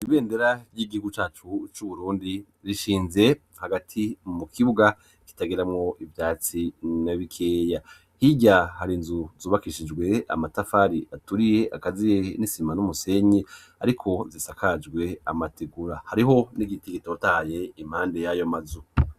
Ibendera ry'igihugu cacu c'Uburundi, rishinze hagati mu kibuga kitagiramwo ivyatsi na bikeya. Hirya, har'inzu zubakishijwe amatafari aturiye, akaziye n'isima n'umusenyi; ariko zisakajwe amategura, hariho n'igiti gitotaye impande y'ayo mazu.